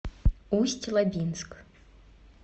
усть лабинск